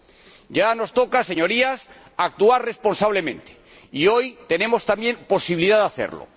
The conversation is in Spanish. Y ahora nos toca, Señorías, actuar responsablemente y hoy tenemos también la posibilidad de hacerlo.